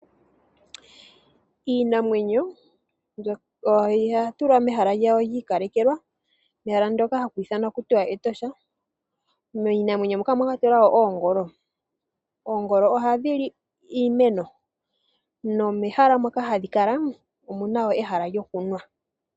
Iinamwenyo oya tulwa mehala lyawo lyi ikalekelwa ndyoka haku tiwa Etosha. Miinamwenyo moka omwa kwatelwa oongolo. Oongolo ohadhi li iimeno nomehala moka hadhi kala omu na wo ehala lyokunwa.